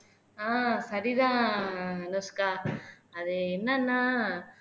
ஆஹ் சரிதான் அனுஷ்கா அது என்னன்னா